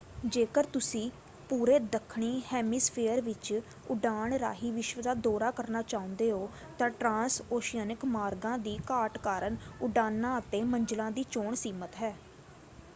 ਜੇਕਰ ਤੁਸੀਂ ਪੂਰੇ ਦੱਖਣੀ ਹੈਮੀਸਫੇਅਰ ਵਿੱਚ ਉਡਾਣ ਰਾਹੀਂ ਵਿਸ਼ਵ ਦਾ ਦੌਰਾ ਕਰਨਾ ਚਾਹੁੰਦੇ ਹੋ ਤਾਂ ਟ੍ਰਾਂਸਓਸ਼ੀਅਨਿਕ ਮਾਰਗਾਂ ਦੀ ਘਾਟ ਕਾਰਨ ਉਡਾਨਾਂ ਅਤੇ ਮੰਜ਼ਲਾਂ ਦੀ ਚੋਣ ਸੀਮਤ ਹੈ।